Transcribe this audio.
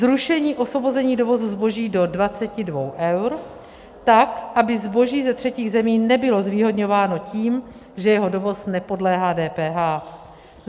Zrušení osvobození dovozu zboží do 22 eur, tak aby zboží ze třetích zemí nebylo zvýhodňováno tím, že jeho dovoz nepodléhá DPH.